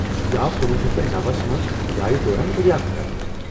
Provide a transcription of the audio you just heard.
یہِ آو کنُۄہُ شیتھ تہٕ نوَس منٛز کُھدایہ دوران دریافت کرنہٕ